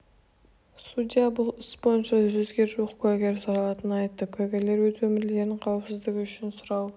судья бұл іс бойынша жүзге жуық куәгер сұралатынын айтты куәгерлер өз өмірлерінің қауіпсіздігі үшін сұрау